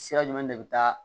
Sira jumɛn de bɛ taa